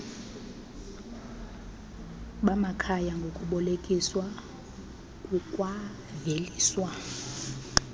bamakhaya ngokubolekiswa kukwaveliswa